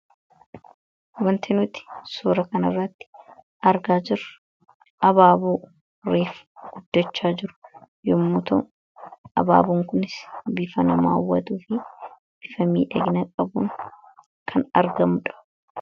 wantinuti suura kan irraatti argaa jir abaabuu riif guddachaa jiru yommuta abaabuun kunis bifanamaawwatuu fi bifamii dhagna qabuun kan argamudha